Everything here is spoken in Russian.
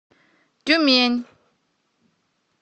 тюмень